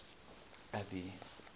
abby